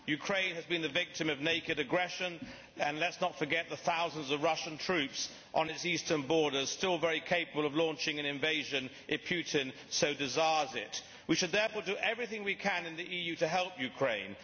Ukraine has been the victim of naked aggression and let us not forget the thousands of Russian troops on its eastern borders still very capable of launching an invasion if Putin so desires it. We should therefore do everything we can in the EU to help Ukraine.